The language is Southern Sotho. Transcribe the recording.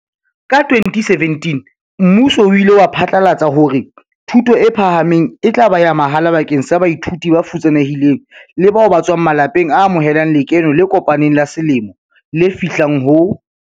Ka 2017 mmuso o ile wa phatlalatsa hore thuto e phahameng e tla ba ya mahala bakeng sa baithuti ba futsane hileng le bao ba tswang ma lapeng a amohelang lekeno le kopaneng la selemo le fihlang ho